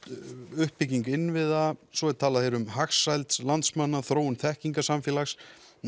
uppbyggingu innviða svo er hér talað um hagsæld landsmanna þróun þekkingarsamfélags